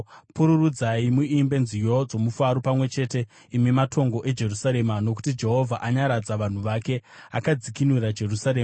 Pururudzai muimbe nziyo dzomufaro pamwe chete, imi matongo eJerusarema, nokuti Jehovha anyaradza vanhu vake, akadzikinura Jerusarema.